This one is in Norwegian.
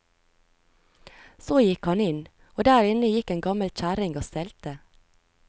Så gikk han inn, og der inne gikk en gammel kjerring og stelte.